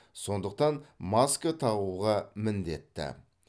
сондықтан маска тағуға міндетті